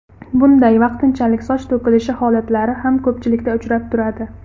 Bunday vaqtinchalik soch to‘kilishi holatlari ham ko‘pchilikda uchrab turadi.